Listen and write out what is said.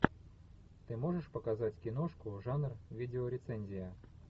ты можешь показать киношку жанр видеорецензия